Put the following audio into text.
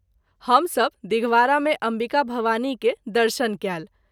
हम सभ दिघवारा मे अम्बिका भवानी के दर्शन कएल।